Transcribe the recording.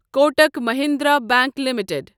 Kotak Mahindra bank limited